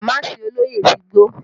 Damaasi olóyè ti gbó